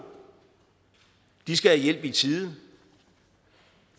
de skal have hjælp i tide